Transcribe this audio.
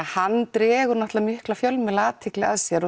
hann dregur mikla fjölmiðlaathygli að sér og